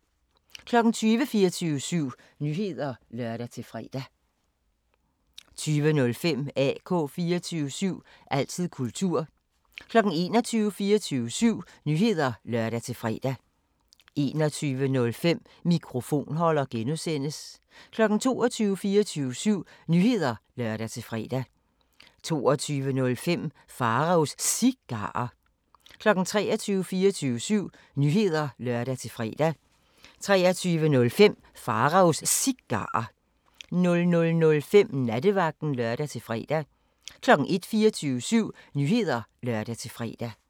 20:00: 24syv Nyheder (lør-fre) 20:05: AK 24syv – altid kultur 21:00: 24syv Nyheder (lør-fre) 21:05: Mikrofonholder (G) 22:00: 24syv Nyheder (lør-fre) 22:05: Pharaos Cigarer 23:00: 24syv Nyheder (lør-fre) 23:05: Pharaos Cigarer 00:05: Nattevagten (lør-fre) 01:00: 24syv Nyheder (lør-fre)